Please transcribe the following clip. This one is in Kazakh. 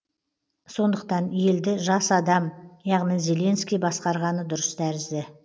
сондықтан елді жас адам яғни зеленский басқарғаны дұрыс тәрізді